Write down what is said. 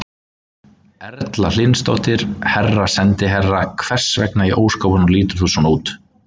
Erla Hlynsdóttir: Herra sendiherra, hvers vegna í ósköpunum lítur þú svona út?